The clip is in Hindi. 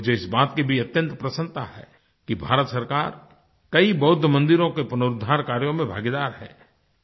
मुझे इस बात की भी अत्यंत प्रसन्नता है कि भारत सरकार कई बौद्ध मंदिरों के पुनरुद्धार कार्यों में भागीदार है